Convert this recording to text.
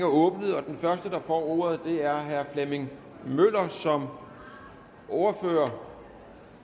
åbnet den første der får ordet er herre flemming møller som ordfører